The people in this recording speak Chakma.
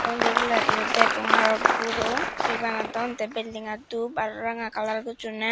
undi ebeladi o degong aro guro he banadon the building an dhup aro ranga kalar gochunney.